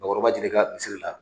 Bakɔrɔba jire ka misiri la